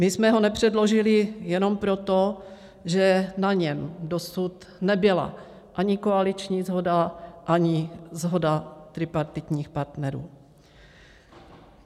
My jsme ho nepředložili jenom proto, že na něm dosud nebyla ani koaliční shoda, ani shoda tripartitních partnerů.